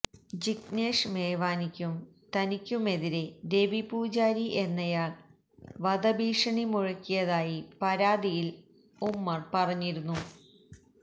ജിഗ്നേഷ് മേവാനിക്കും തനിക്കുമെതിരെ രവി പൂജാരി എന്നയാള് വധഭീഷണി മുഴക്കിയതായി പരാതിയില് ഉമര് പറഞ്ഞിരുന്നു